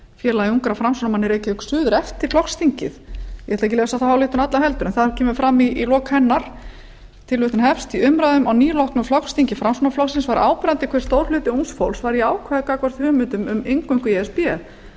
félagi ungra framsóknarmanna í reykjavík suður eftir flokksþingið ég ætla ekki að lesa þá ályktun alla heldur en það kemur fram í lok hennar í umræðum á nýloknu flokksþingi framsóknarflokksins var áberandi hve stór hluti ungs fólks var jákvæður gagnvart hugmyndum um inngöngu í e s b